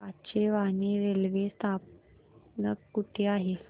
Kachewani railway स्थानक कुठे आहे